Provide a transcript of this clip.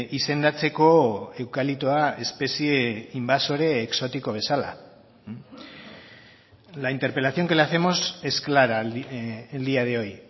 izendatzeko eukaliptoa espezie inbasore exotiko bezala la interpelación que le hacemos es clara el día de hoy